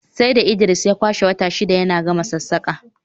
sai da Idris ya kwashe wata shida yana gama sassaƙa